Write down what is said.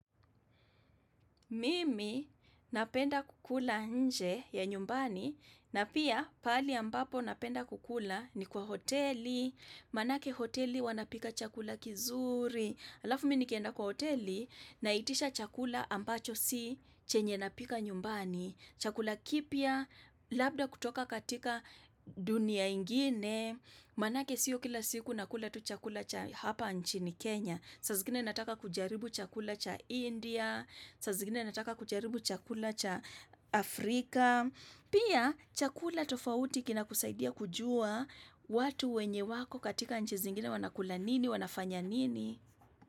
Mimi napenda kukula nje ya nyumbani na pia pahali ambapo napenda kukula ni kwa hoteli, manake hoteli wanapika chakula kizuri, alafu minikenda kwa hoteli naitisha chakula ambacho si chenye napika nyumbani, chakula kipya, labda kutoka katika dunia ingine, manake siyo kila siku nakula tu chakula cha hapa nchini Kenya. Saa zingine nataka kujaribu chakula cha India, sa zingine nataka kujaribu chakula cha Afrika, pia chakula tofauti kina kusaidia kujua watu wenye wako katika nchi zingine wanakula nini, wanafanya nini.